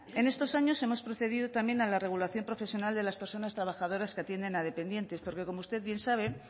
en estos años hemos procedido también a la regulación profesional de las personas trabajadoras que atienden a dependientes porque como usted bien sabe